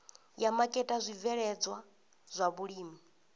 ya maketa zwibveledzwa zwa vhulimi